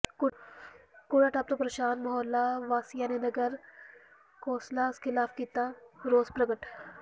ਕੂੜਾ ਡੰਪ ਤੋਂ ਪ੍ਰੇਸ਼ਾਨ ਮੁਹੱਲਾ ਵਾਸੀਆਂ ਨੇ ਨਗਰ ਕੌ ਾਸਲ ਖਿਲਾਫ਼ ਕੀਤਾ ਰੋਸ ਪ੍ਰਗਟ